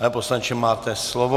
Pane poslanče, máte slovo.